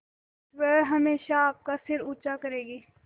वह हमेशा आपका सिर ऊँचा करेगी